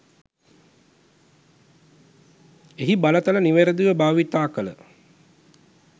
එහි බලතල නිවරදිව භාවිතා කළ